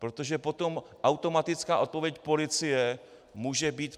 Protože potom automatická odpověď policie může být...